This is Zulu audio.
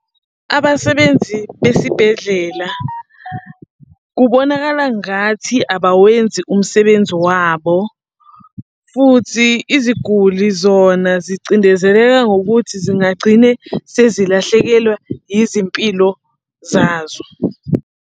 Abasebenzi besibhedlela kubonakala ngathi abawenzi umsebenzi wabo, futhi iziguli zona zicindezeleka ngokuthi singagcine sezilahlekelwa izimpilo zazo.